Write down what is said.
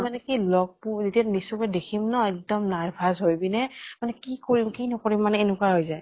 মানে কি লগ পু যেতিয়া নিজ চকুৰে দেখিম ন এক্দম nervous হৈ পিনে মানে কি কৰিম কি নকৰিম মানে এনেকুৱা হৈ যায়।